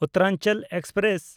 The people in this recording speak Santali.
ᱩᱛᱷᱨᱟᱧᱪᱟᱞ ᱮᱠᱥᱯᱨᱮᱥ